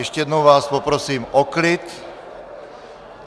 Ještě jednou vás poprosím o klid.